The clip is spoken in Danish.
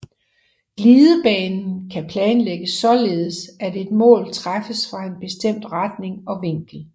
Glidebanen kan planlægges således at et mål træffes fra en bestemt retning og vinkel